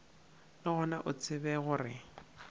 le gona o tsebe gore